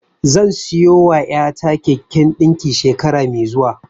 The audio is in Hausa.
Zan siyowa ƴata keken ɗinki shekara mai zuwa.